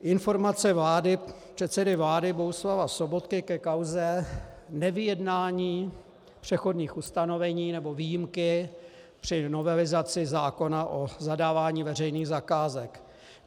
Informace předsedy vlády Bohuslava Sobotky ke kauze nevyjednání přechodných ustanovení, nebo výjimky při novelizaci zákona o zadávání veřejných zakázek.